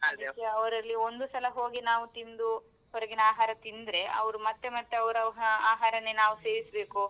ಅವರಲ್ಲಿ ಒಂದು ಸಲ ಹೋಗಿ ನಾವು ತಿಂದು ಹೊರಗಿನ ಆಹಾರ ತಿಂದ್ರೆ ಅವ್ರು ಮತ್ತೇ ಮತ್ತೇ ಅವ್ರ್ ಆ~ ಆಹಾರನೇ ನಾವ್ ಸೇವಿಸ್ಬೇಕು.